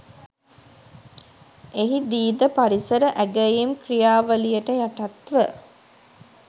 එහිදී ද පරිසර ඇගැයීම් ක්‍රියාවලියට යටත්ව